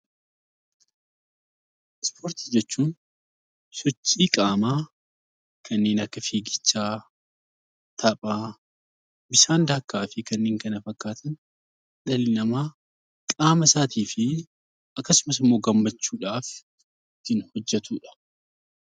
Ispoortii jechuun sochii qaamaa kanneen akka fiigichaa, taphaa, bishaan daakkaa fi kanneen kana fakkaatan dhalli namaa qaama isaatii fi akkasumas immoo gammachuudhaaf ittiin hojjetudha.